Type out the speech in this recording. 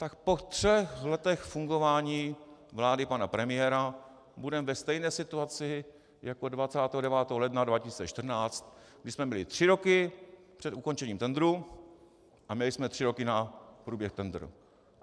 Tak po třech letech fungování vlády pana premiéra budeme ve stejné situaci jako 29. ledna 2014, kdy jsme byli tři roky před ukončením tendru a měli jsme tři roky na průběh tendru.